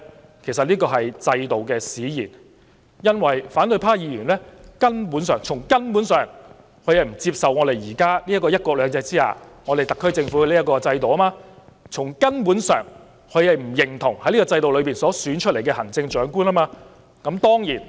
這其實是制度使然，因為反對派議員根本——是從根本上——不接受我們現時這個在"一國兩制"下的特區政府制度。從根本上，他們不認同在這個制度下選出的行政長官。